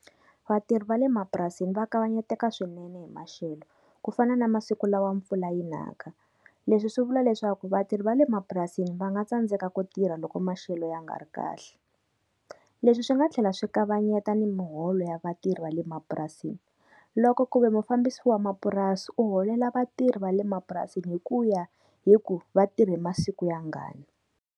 Vatirhi va le mapurasini va kavanyeteka swinene hi maxelo. Ku fana na masiku lawa mpfula yi naka. Leswi swi vula leswaku vatirhi va le mapurasini va nga tsandzeka ku tirha loko maxelo ya nga ri kahle. Leswi swi nga tlhela swi kavanyeta ni miholo ya vatirhi va le mapurasini, loko ku ve mufambisi wa mapurasi u holela vatirhi va le mapurasini hi ku ya hi ku va tirhe masiku yangani.